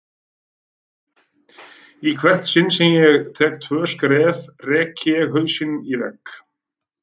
Í hvert sinn sem ég tek tvö skref rek ég hausinn í vegg.